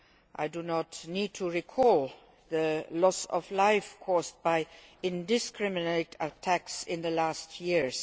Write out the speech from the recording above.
I do not need to recall the loss of life caused by indiscriminate attacks in recent years.